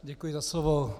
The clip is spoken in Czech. Děkuji za slovo.